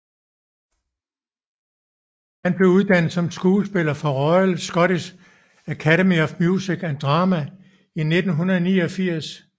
Han blev uddannet som skuespiller fra Royal Scottish Academy of Music and Drama i 1989